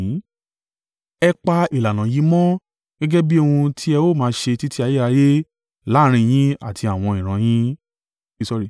“Ẹ pa ìlànà yìí mọ́ gẹ́gẹ́ bí ohun tí ẹ ó máa ṣe títí ayérayé láàrín yín àti àwọn ìran yín.